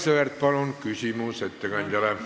Aivar Sõerd, palun, küsimus ettekandjale!